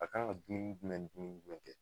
A kan ka dumuni jumɛn ni dumuni jumɛn kɛ.